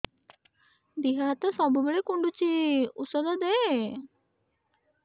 ଦିହ ହାତ ସବୁବେଳେ କୁଣ୍ଡୁଚି ଉଷ୍ଧ ଦେ